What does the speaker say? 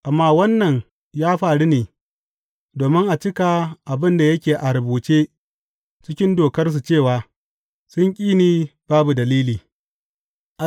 Amma wannan ya faru ne domin a cika abin da yake a rubuce cikin Dokarsu cewa, Sun ƙi ni ba dalili.’